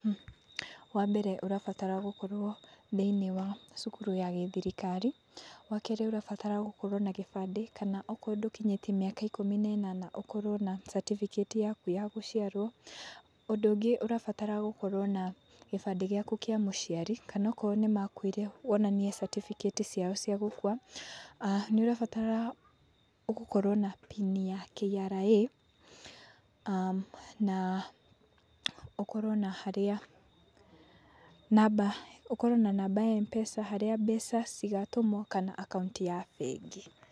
Wambere ũrabatara gũkorwo thĩinĩ wa cukuru ya gĩthirikari, wakerĩ ũrabatara gũkorwo na kĩbandĩ kana okorwo ndũkinyĩtie miaka ikũmi na ĩnana, ũkorwo na certificate yaku ya gũciarwo. Ũndũ ũngĩ ũrabatara gũkorwo na kĩbandĩ gĩaku kĩa mũciari kana okorwo nĩmakuire wonanie certificate ciao cia gũkua. Nĩũrabatara gũkorwo na pini ya K.R.A na ũkorwo na harĩa namba, ũkorwo na namba ya M-PESA harĩa mbeca cigatũmwo kana account ya bengi.